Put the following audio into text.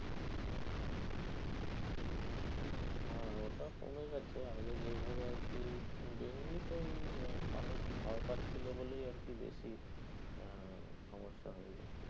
হ্যাঁ ওটা কমে গেছে। আগে যেইভাবে আরকি এমনি তো ওই মানুষ ভয় পাচ্ছিলো বলেই আরকি বেশি আহ সমস্যা হয় আরকি।